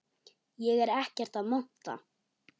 Ég er ekkert að monta.